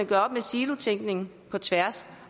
gøre op med silotænkningen og på tværs